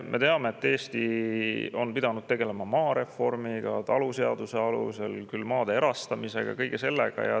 Me teame, et Eesti on pidanud taluseaduse alusel tegelema maareformiga, siis maade erastamise ja kõige sellega.